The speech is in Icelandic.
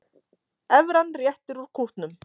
Evran réttir út kútnum